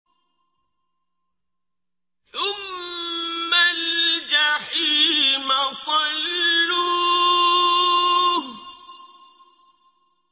ثُمَّ الْجَحِيمَ صَلُّوهُ